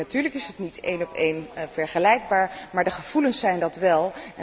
En natuurlijk is het niet helemaal vergelijkbaar, maar de gevoelens zijn dat wel.